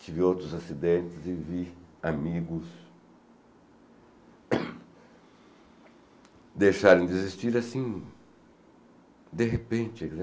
Tive outros acidentes e vi amigos deixarem de existir, assim, de repente.